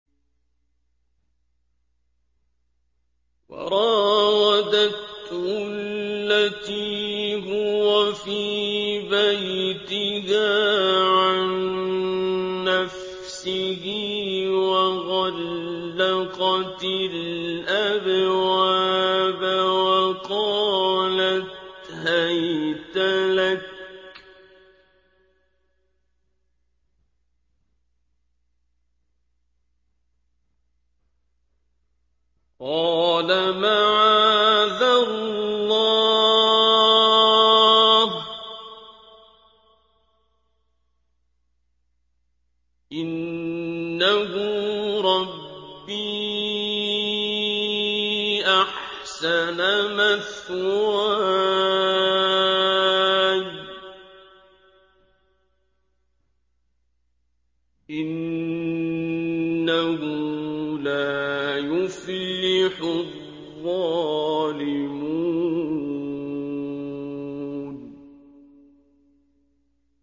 وَرَاوَدَتْهُ الَّتِي هُوَ فِي بَيْتِهَا عَن نَّفْسِهِ وَغَلَّقَتِ الْأَبْوَابَ وَقَالَتْ هَيْتَ لَكَ ۚ قَالَ مَعَاذَ اللَّهِ ۖ إِنَّهُ رَبِّي أَحْسَنَ مَثْوَايَ ۖ إِنَّهُ لَا يُفْلِحُ الظَّالِمُونَ